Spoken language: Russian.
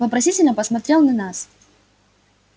вопросительно посмотрел на нас